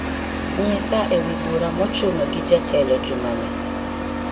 nyisa ewi bura mochuno gi jatelo jumani